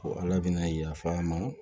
Ko ala bɛna yafa an ma